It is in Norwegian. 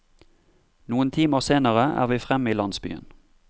Noen timer senere er vi fremme i landsbyen.